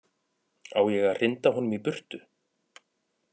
Á ég að hrinda honum í burtu?